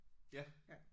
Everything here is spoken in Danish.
Ja